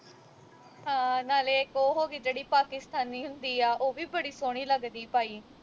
ਹਾਂ ਨਾਲੇ ਇਕ ਉਹ ਹੋ ਗਈ ਜਿਹੜੀ ਪਾਕਿਸਤਾਨੀ ਹੁੰਦੀ ਆ ਉਹ ਵੀ ਬੜੀ ਸੋਹਣੀ ਲੱਗਦੀ ਪਾਈ